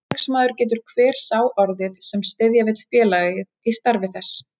Félagsmaður getur hver sá orðið, sem styðja vill félagið í starfi þess.